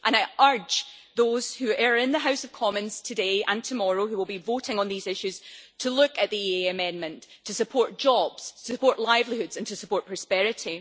I urge those who are in the House of Commons today and tomorrow and who will be voting on these issues to look at the EEA amendment to support jobs, support livelihoods and to support prosperity.